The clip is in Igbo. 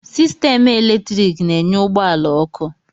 Sistemụ eletrik na-enye ụgbọ ala ọkụ